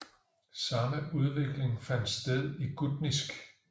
Samme udvikling fandt sted i gutnisk